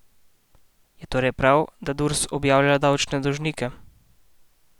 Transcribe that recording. Je torej prav, da Durs objavlja davčne dolžnike?